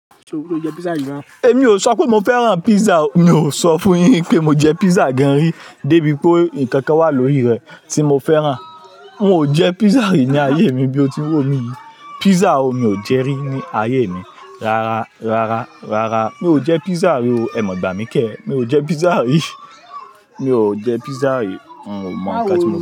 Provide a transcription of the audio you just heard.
Tó, è mi ò sọ pé mo fẹ́ràn pizza o è mi ò sọ fún yín pé mojẹ pizza gan rí débi pé ǹkankan wà lórí rẹ̀ tí mo fẹ́ràn. Mi ò jẹ pizza rí ní ayé mi bí o ti wí pé o ní. Pizza òó, mi ò jẹ rí ní ayé mi. Rárá, rárá, rárá. Mi ò jẹ pizza rí o. Ẹ mọ̀ gbà mí kẹ́. Mi ò jẹ pizza rí. Mi ò jẹ pizza rí. N ò mọ̀ kán tí mo le.